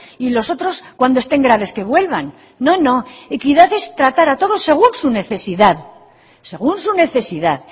y los otros cuando estén graves que vuelvan no no equidad es tratar a todos según su necesidad según su necesidad